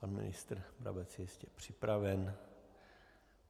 Pan ministr Brabec je jistě připraven.